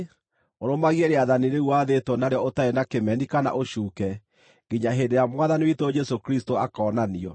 ũrũmagie rĩathani rĩu wathĩtwo narĩo ũtarĩ na kĩmeni kana ũcuuke nginya hĩndĩ ĩrĩa Mwathani witũ Jesũ Kristũ akoonanio,